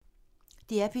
DR P2